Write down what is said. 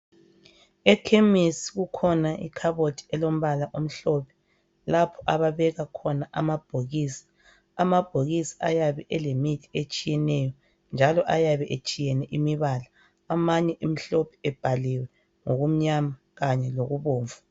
Ekhemesi kukhona ikhabothi elombala omhlophe lapho ababeka khona amabhokisi. Amabhokisi ayabe elemithi etshiyeneyo njalo ayabe etshiyene imibala amanye emhlophe ebhaliwe ngokumnyama kanye lokubomvu.